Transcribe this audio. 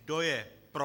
Kdo je pro?